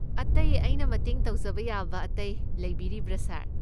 ꯑꯇꯩ ꯑꯩꯅ ꯃꯇꯦꯡ ꯇꯧꯖꯕ ꯌꯥꯕ ꯑꯇꯩ ꯂꯩꯕꯤꯔꯤꯕ꯭ꯔꯥ, ꯁꯥꯔ?